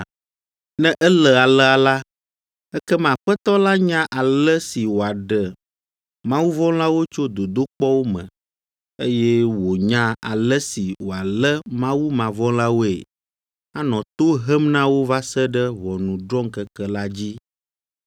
Ne ele alea la, ekema Aƒetɔ la nya ale si wòaɖe mawuvɔ̃lawo tso dodokpɔwo me, eye wònya ale si wòalé mawumavɔ̃lawoe, anɔ to hem na wo va se ɖe ʋɔnudrɔ̃ŋkeke la dzi.